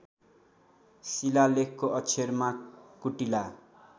शिलालेखको अक्षरमा कुटिला